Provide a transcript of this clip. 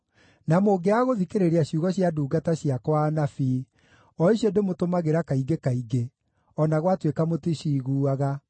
na mũngĩaga gũthikĩrĩria ciugo cia ndungata ciakwa anabii, o icio ndĩmũtũmagĩra kaingĩ kaingĩ (o na gwatuĩka mũticiiguaga),